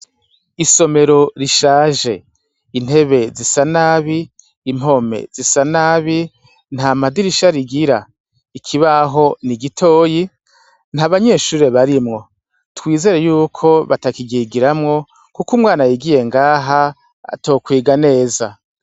Isomero rishaje, impome zisa nabi, impome zisa nabi, nta madirisha bigira. Ikibaho ni gitoyi, nta banyeshure barimwo. Twizere yuko batakiryigiramwo, kuko umwana yigiye ngaha, atokwiga neza.